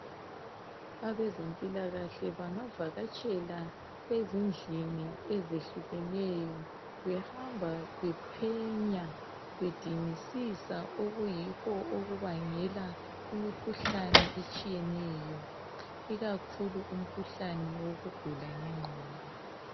Abezempilakahle bangavakatshela ezindlini ezehlukeneyo behamba bephenya bedingisisa okuyikho okubangela imikhuhlane etshiyeneyo ikakhulu umkhuhlane wokugula ngenqgondo.